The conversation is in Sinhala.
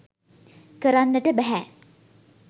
කරන්නට බැහැ.